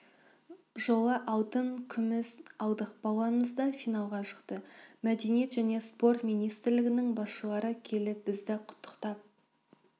жолы алтын күміс алдық балуанымызда финалға шықты мәдениет және спорт министрлігінің басшылары келіп бізді құттықтап